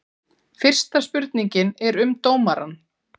Fyrsta spurningin er um dómarann?